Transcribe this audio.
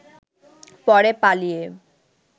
পরে পালিয়ে